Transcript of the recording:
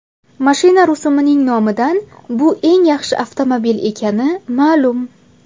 Mashina rusumining nomidan bu eng yaxshi avtomobil ekani ma’lum.